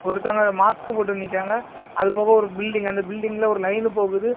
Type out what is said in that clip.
ஒருத்தங்க மாஸ்க் போட்டு நிக்கிறாங்க அது போக ஒரு பில்டிங் அந்த பில்டிங்ல ஒரு லைனு போகுது.